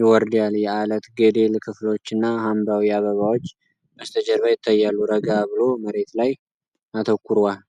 ይወርዳል። የዐለት ገደል ክፍሎችና ሐምራዊ አበባዎች በስተጀርባ ይታያሉ። ረጋ ብሎ መሬት ላይ አተኩሯል።